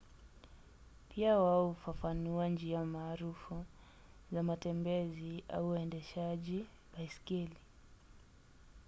pia wao hufafanua njia maarufu za matembezi na uendeshaji baiskeli